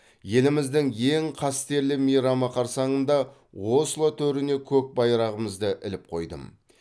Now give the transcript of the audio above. еліміздің ең қастерлі мейрамы қарсаңында осло төріне көк байрағымызды іліп қойдым